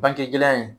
Banke gɛlɛya in